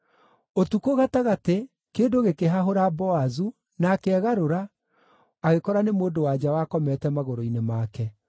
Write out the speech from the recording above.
Ũtukũ gatagatĩ, kĩndũ gĩkĩhahũra Boazu, nake egarũra, agĩkora nĩ mũndũ-wa-nja wakomete magũrũ-inĩ make.